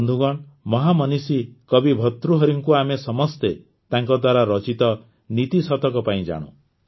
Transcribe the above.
ବନ୍ଧୁଗଣ ମହାମନୀଷୀ କବି ଭର୍ତୃହରିଙ୍କୁ ଆମେ ସମସ୍ତେ ତାଙ୍କ ଦ୍ୱାରା ରଚିତ ନୀତି ଶତକ ପାଇଁ ଜାଣୁ